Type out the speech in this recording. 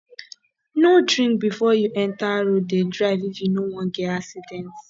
no drink before you enter road dey drive if you no wan get accident